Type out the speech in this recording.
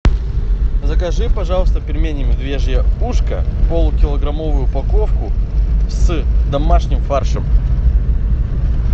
закажи пожалуйста пельмени медвежье ушко полукилограммовую упаковку с домашним фаршем